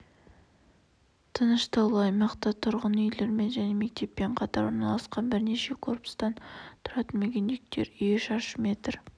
тыныш таулы аймақта тұрғын үйлермен және мектеппен қатар орналасқан бірнеше корпустан тұратын мүгедектер үйі шаршы метр